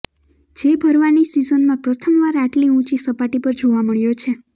જે ભરવાની સિઝનમાં પ્રથમવાર આટલી ઊંચી સપાટી પર જોવા મળ્યો છે